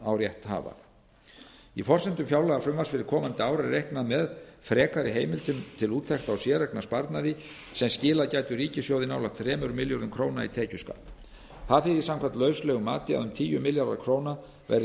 á rétthafa í forsendum fjárlagafrumvarps fyrir komandi ár er reiknað með frekari heimildum til úttektar á séreignarsparnaði sem skilað gætu ríkissjóði nálægt þremur milljörðum króna í tekjuskatt það þýðir samkvæmt lauslegu mati að um tíu milljarðar króna verði